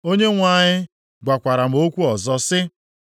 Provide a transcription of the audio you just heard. Onyenwe anyị gwakwara m okwu ọzọ sị,